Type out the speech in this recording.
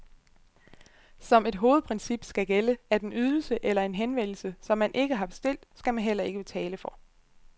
Som et hovedprincip skal gælde, at en ydelse eller en henvendelse, som man ikke har bestilt, skal man heller ikke betale for.